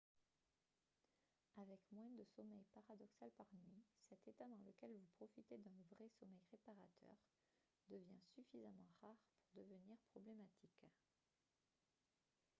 avec moins de sommeil paradoxal par nuit cet état dans lequel vous profitez d'un vrai sommeil réparateur devient suffisamment rare pour devenir problématique